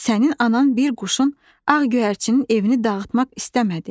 Sənin anan bir quşun, ağ göyərçinin evini dağıtmaq istəmədi.